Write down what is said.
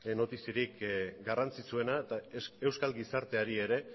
notiziarik garrantzitsuena eta euskal gizarteari ere